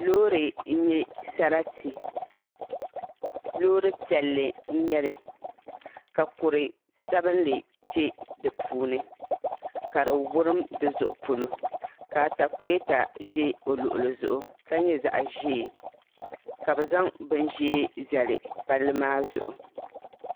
Loori n nyɛ sarati loori piɛlli n nyɛli ka kuri sabinli kpɛ di puuni ka di wurim di zuɣu polo ka atakulɛta ʒɛ o luɣuli zuɣu ka nyɛ zaɣ ʒiɛ ka bi zaŋ bin ʒiɛ zali palli maa zuɣu